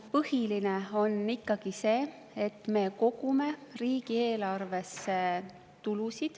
Põhiline on ikka see, et me kogume riigieelarvesse tulu.